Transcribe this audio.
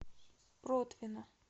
протвино